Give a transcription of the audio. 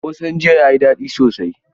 Ƙosan jiya yayi da daɗi sosai.